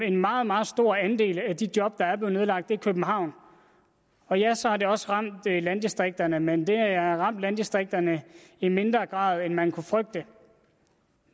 en meget meget stor andel af de job der er blevet nedlagt er nedlagt i københavn og ja så har det også ramt landdistrikterne men det har ramt landdistrikterne i mindre grad end man kunne frygte